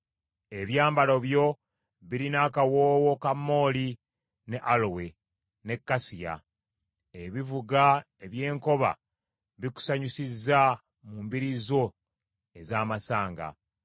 Ebyambalo byo birina akawoowo ka mmooli ne alowe, ne kasiya. Ebivuga eby’enkoba bikusanyusiza mu mbiri zo ez’amasanga.